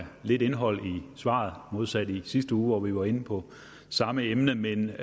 lidt indhold i svaret modsat i sidste uge hvor vi var inde på samme emne men